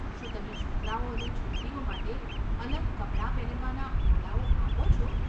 શું તમે છોકરાઓ અને છોકરીઓ માટે અલગ કપડા પહેરવાના ઓરડાઓ આપો છો?